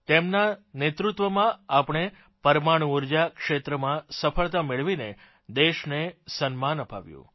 તેમનાં નેતૃત્વમાં આપણે પરમાણુ ઊર્જા ક્ષેત્રમાંસફળતા મેળવીને દેશને સન્માન અપાવ્યું